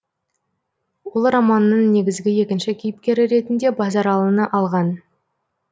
ол романның негізгі екінші кейіпкері ретінде базаралыны алған